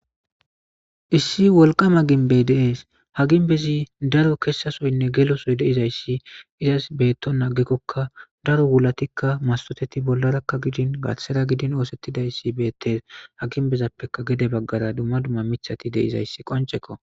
Issi wolqama ginbey dees haginbezi daro kessasoynne gelosoy deizayssi izas beetto naagekkokka daro wulatikka masoteti bollarakka gidin gathera gidin oosettidayssi beettes haginbezappeka gede baggara dumma dumma mithati deizayssi qoncekko.